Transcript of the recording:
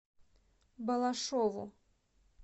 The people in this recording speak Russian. балашову